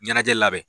Ɲɛnajɛ labɛn